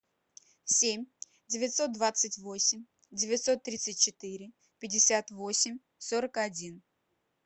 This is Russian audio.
семь девятьсот двадцать восемь девятьсот тридцать четыре пятьдесят восемь сорок один